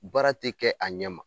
Baara ti kɛ a ɲɛ ma